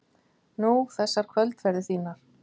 Nú, þessar kvöldferðir þínar.